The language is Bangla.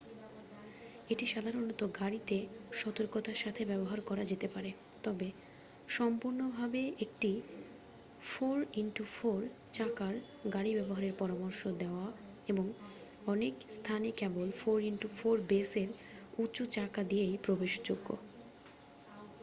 এটি সাধারণ গাড়িতে সতর্কতার সাথে করা যেতে পারে তবে সম্পূর্ণভাবে একটি 4x4 চাকার গাড়ি ব্যবহারের পরামর্শ দেওয়া হয় এবং অনেক স্থানা কেবল 4x4 বেসের উঁচু চাকা দিয়েই প্রবেশযোগ্য।